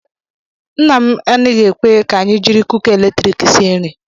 Nna m anaghị ekwe ka anyị jiri kuka eletriiki sie nri.